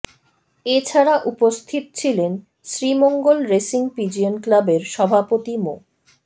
এ ছাড়া উপস্থিত ছিলেন শ্রীমঙ্গল রেসিং পিজিয়ন ক্লাবের সভাপতি মো